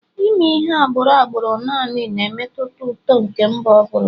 Ime ihe agbụrụ agbụrụ naanị na-emetụta uto nke mba ọ bụla